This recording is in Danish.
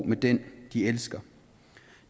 med den de elsker